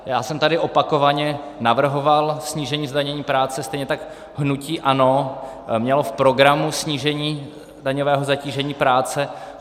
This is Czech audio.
Já jsem tady opakovaně navrhoval snížení zdanění práce, stejně tak hnutí ANO mělo v programu snížení daňového zatížení práce.